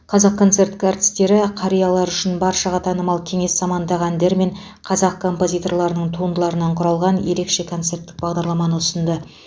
қазақконцерт артістері қариялар үшін баршаға танымал кеңес заманындағы әндер мен қазақ композиторларының туындыларынан құрылған ерекше концерттік бағдарламаны ұсынды